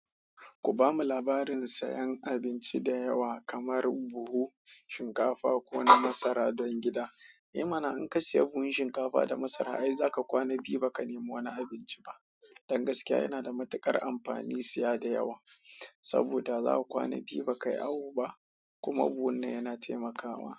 Ku bamu labarin sayan abinci da yawa kamar buhu, shinkafa ko na masara don gida. Eh mana in kasiyi buhun shinkafa da masara ai za ka kwana biyu ba ka nemi wani abunci ba don gaskiya yana da matuƙar amfani siya da yawa, saboda za ka kwana biyu ba ka yi awu ba kuma buhun nan yana taimakawa.